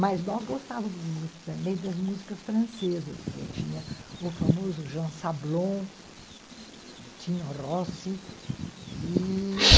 Mas nós gostávamos muito também das músicas francesas, porque tinha o famoso Jean Sablon, Tino Rossi, e...